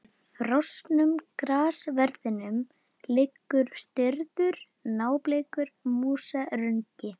Í frosnum grassverðinum liggur stirður, nábleikur músarungi.